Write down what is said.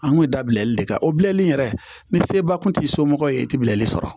An kun ye dabilali de kɛ o bilali yɛrɛ ni seba kun t'i somɔgɔ ye i tɛ bilali sɔrɔ